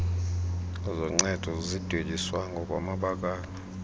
zoncedo zidweliswa ngokwamabakala